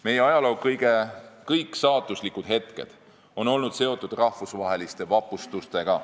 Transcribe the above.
Meie ajaloo kõik saatuslikud hetked on olnud seotud rahvusvaheliste vapustustega.